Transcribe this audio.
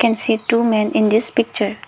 i see too man in this picture.